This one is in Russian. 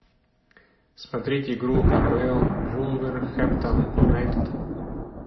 смотреть игру апл вулверхэмптон юнайтед